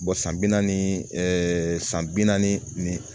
san bi naani ɛɛ san bi naani ni